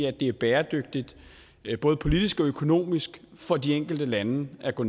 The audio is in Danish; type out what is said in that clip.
at det er bæredygtigt både politisk og økonomisk for de enkelte lande at gå